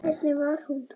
En hvernig var hún?